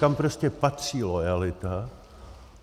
Tam prostě patří loajalita.